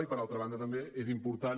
i per altra banda també és important